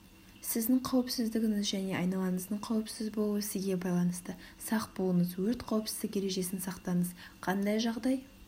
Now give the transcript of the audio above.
сіздің қауіпсіздігіңіз және айналаңыздың қауіпсіз болуы сізге байланысты сақ болыңыз өрт қауіпсіздік ережесін сақтаңыз қандай жағдай